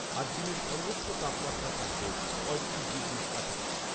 আজ দিনের সর্বোচ্চ তাপমাত্রা থাকবে পঁয়ত্রিশ ডিগ্রির কাছাকাছি।